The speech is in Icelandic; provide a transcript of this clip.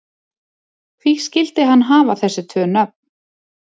Hví skyldi hann hafa þessi tvö nöfn?